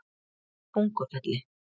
Tungufelli